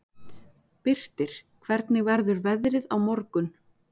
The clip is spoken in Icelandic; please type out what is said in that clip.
Birtir, hvernig verður veðrið á morgun?